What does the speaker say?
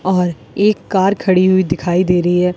और एक कार खड़ी हुई दिखाई दे रही है।